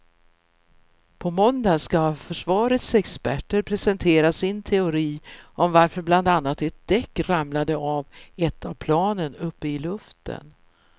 På måndag ska försvarets experter presentera sin teori om varför bland annat ett däck ramlade av ett av planen uppe i luften.